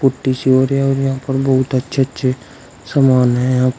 यहां पर बहुत अच्छे अच्छे समान है यहां पर।